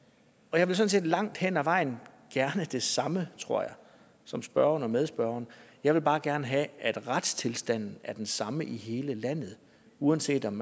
jeg vil sådan set langt hen ad vejen gerne det samme tror jeg som spørgeren og medspørgeren jeg vil bare gerne have at retstilstanden er den samme i hele landet uanset om